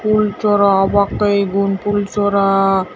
fhool sora obakke egun fhool sora.